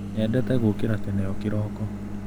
Nyendete gũkĩra tene o kĩroko.